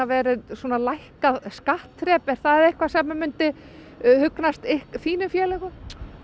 vera lækkað skattþrep er það eitthvað sem að myndi hugnast þínum félögum